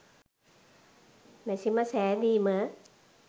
මැෂිම සැදීම